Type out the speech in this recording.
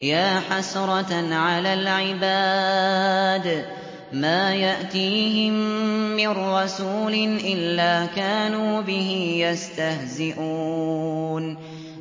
يَا حَسْرَةً عَلَى الْعِبَادِ ۚ مَا يَأْتِيهِم مِّن رَّسُولٍ إِلَّا كَانُوا بِهِ يَسْتَهْزِئُونَ